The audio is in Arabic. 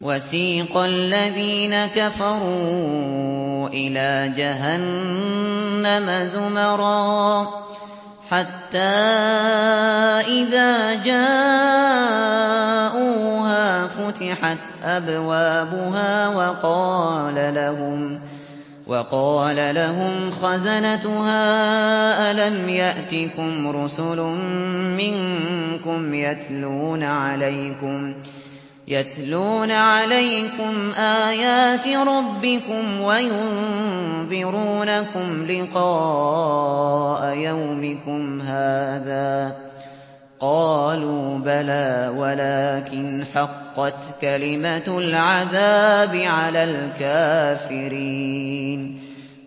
وَسِيقَ الَّذِينَ كَفَرُوا إِلَىٰ جَهَنَّمَ زُمَرًا ۖ حَتَّىٰ إِذَا جَاءُوهَا فُتِحَتْ أَبْوَابُهَا وَقَالَ لَهُمْ خَزَنَتُهَا أَلَمْ يَأْتِكُمْ رُسُلٌ مِّنكُمْ يَتْلُونَ عَلَيْكُمْ آيَاتِ رَبِّكُمْ وَيُنذِرُونَكُمْ لِقَاءَ يَوْمِكُمْ هَٰذَا ۚ قَالُوا بَلَىٰ وَلَٰكِنْ حَقَّتْ كَلِمَةُ الْعَذَابِ عَلَى الْكَافِرِينَ